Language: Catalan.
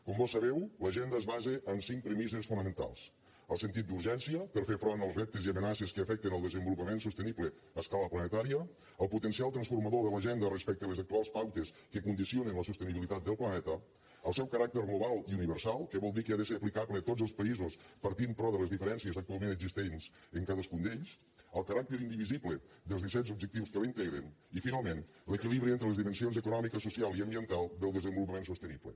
com vós sabeu l’agenda es basa en cinc premisses fonamentals el sentit d’urgència per fer front als reptes i amenaces que afecten el desenvolupament sostenible a escala planetària el potencial transformador de l’agenda respecte a les actuals pautes que condicionen la sostenibilitat del planeta el seu caràcter global i universal que vol dir que ha de ser aplicable a tots els països partint però de les diferencies actualment existents en cadascun d’ells el caràcter indivisible dels disset objectius que la integren i finalment l’equilibri entre les dimensions econòmica social i ambiental del desenvolupament sostenible